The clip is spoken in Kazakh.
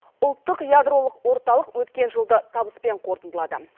ұлттық ядролық орталық өткен жылды табыспен қорытындылады